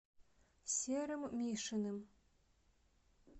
серым мишиным